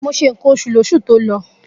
Mo se ǹkan oṣù lóṣù tó lọ.